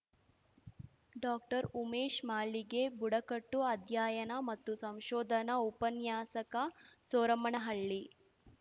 ಡಾಕ್ಟರ್ಉಮೇಶ್ ಮಾಳಿಗೆ ಬುಡಕಟ್ಟು ಅಧ್ಯಯನ ಮತ್ತು ಸಂಶೋಧನಾ ಉಪನ್ಯಾಸಕ ಸೂರಮ್ಮನಹಳ್ಳಿ